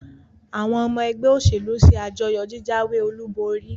àwọn ọmọ ẹgbẹ́ òṣèlú se àjọyọ̀ jíjáwé-olúborí.